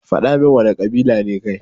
Fadamin wana kabila ne kai.